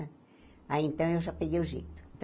Aí, então, eu já peguei o jeito.